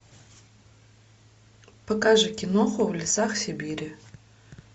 покажи киноху в лесах сибири